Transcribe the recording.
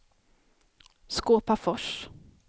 Skåpafors